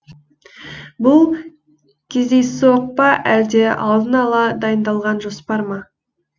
бұл кездейсоқ па әлде алдын ала дайындалған жоспар ма